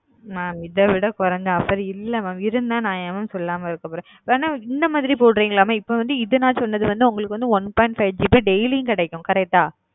mam இதைவிட கோரிஞ்ச offer இல்ல mam இருந்த ந ஏ mam சொல்லாம இருக்க போற வென இந்த மாரி போடுறிங்களா ம என ந இப்போ சொல்றது one. five gb offer கிடைக்கும்